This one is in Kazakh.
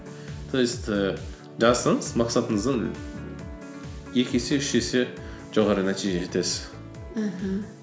то есть і жазсаңыз мақсатыңыздың екі есе үш есе жоғары нәтижеге жетесіз мхм